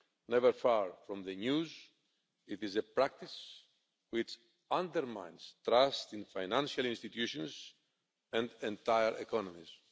Never far from the news, it is a practice which undermines trust in financial institutions and entire economies.